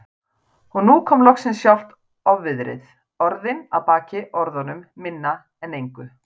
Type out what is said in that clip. Og nú kom loksins sjálft ofviðrið, orðin að baki orðunum, minna en engu.